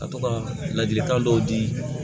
Ka to ka ladilikan dɔw di